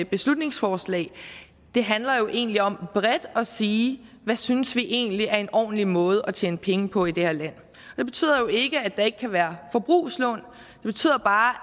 beslutningsforslag handler egentlig om bredt at sige hvad synes vi egentlig er en ordentlig måde at tjene penge på i det her land det betyder jo ikke at der ikke kan være forbrugslån det betyder bare